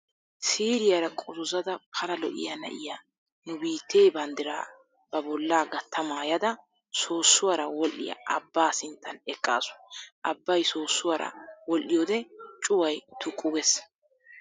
Siiriyara qozozzada pala lo"iya na'iya nu biittee banddiraa ba bollaa gatta maayada soossuwara wodhdhiya abbaa sinttan eqaasu. Abbay soossuwara wodhdhiyoode cuway tuqqu gees.